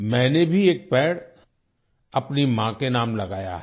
मैंने भी एक पेड़ अपनी माँ के नाम लगाया है